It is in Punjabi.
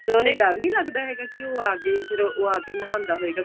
ਡਰ ਨਹੀਂ ਲੱਗਦਾ ਹੈਗਾ ਕੀ ਕੀ ਉਹ ਆ ਗਏ ਫਿਰ ਉਹ ਆ ਕੇ ਨਹਾਉਂਦਾ ਹੋਏਗਾ